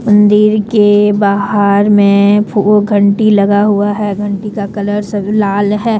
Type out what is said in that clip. मंदिर के बाहर में फूल घंटी लगा हुआ है घंटी का कलर सब लाल है।